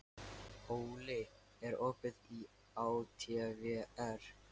Óli, er opið í ÁTVR?